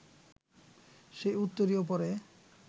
সেই উত্তরীয় পরে